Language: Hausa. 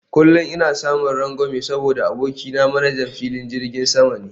Kullum ina samun rangwame saboda abokina manajan filin jirgin sama ne